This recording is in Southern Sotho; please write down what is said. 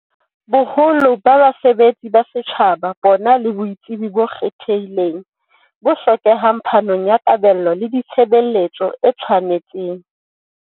Boholo ba basebetsi ba setjhaba bona le botsebi bo ikgethileng bo hlokehang phanong ya kabelo ya ditshe beletso e tshwanetseng.